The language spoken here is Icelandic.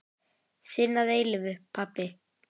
Þinn að eilífu, pabbi.